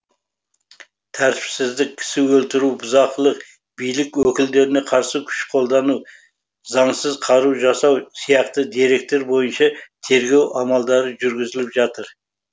тәртіпсіздік кісі өлтіру бұзақылық билік өкілдеріне қарсы күш қолдану заңсыз қару жасау сияқты деректер бойынша тергеу амалдары жүргізіліп жатыр